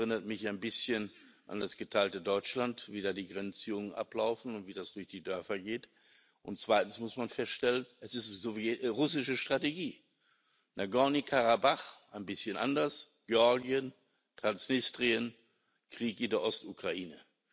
Das erinnert mich ein bisschen an das geteilte Deutschland, wie da die Grenzziehungen ablaufen und wie das durch die Dörfer geht. Zweitens muss man feststellen Es ist russische Strategie in Nagorny Karabach ein bisschen anders Georgien, Transnistrien, Krieg in der Ostukraine.